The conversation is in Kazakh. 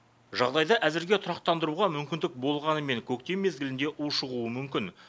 жағдайды әзірге тұрақтандыруға мүмкіндік болғанымен көктем мезгілінде ушығуы мүмкін